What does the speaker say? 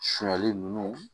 Sunjali ninnu